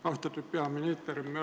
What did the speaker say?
Austatud peaminister!